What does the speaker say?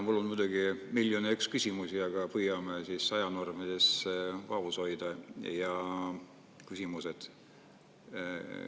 Mul on muidugi miljon ja üks küsimust, aga püüame siis ajanormides vaos hoida küsimused.